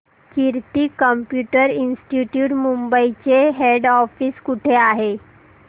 कीर्ती computer institute Mumbai चे head office कुठे आहे